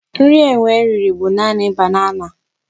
Nri enwe riri bụ naanị banana.